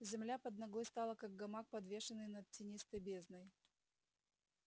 земля под ногой стала как гамак подвешенный над тинистой бездной